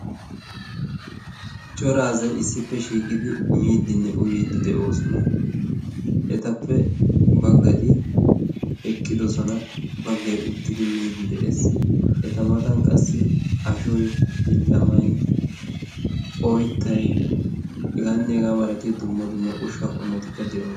Cora asay issippe shiiqidi miidinne uyyiiddi de'oosona. etappe baggati eqqidosona baggai uttidi miidi de'ees. eta matan qassi ashoy billamay oyttay hegaanneegaa malatiya dumma dumma ushsha qommotikka de'ooso